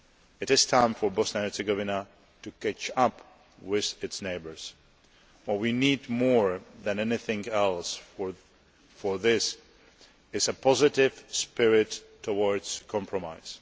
It is time for Bosnia and Herzegovina to catch up with its neighbours. What we need more than anything else for this is a positive spirit towards compromise.